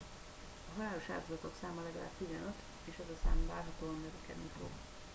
a halálos áldozatok száma legalább 15 és ez a szám várhatóan növekedni fog